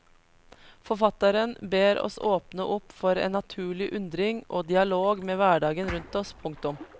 Forfatteren ber oss åpne opp for en naturlig undring og dialog med hverdagen rundt oss. punktum